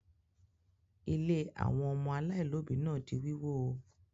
Ilé àwọn ọmọ aláìlóòbí náà di wíwó?